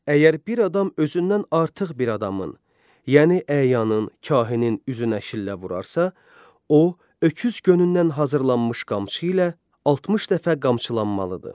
Əgər bir adam özündən artıq bir adamın, yəni əyanın, kahinin üzünə şillə vurarsa, o, öküz gönündən hazırlanmış qamçı ilə 60 dəfə qamçılanmalıdır.